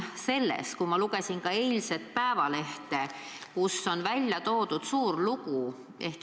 Eilses Päevalehes on sellel teemal suur lugu.